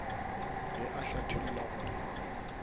ge a mo hlathollela gore